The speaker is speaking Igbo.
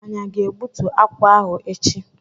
Anyị aga egbútú akwụ ahụ echi?